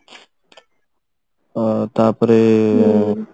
ଅ ତାପରେ